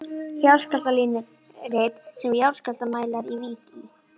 Jarðskjálftalínurit sem jarðskjálftamælar í Vík í